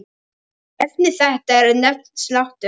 Efni þetta er nefnt slátur.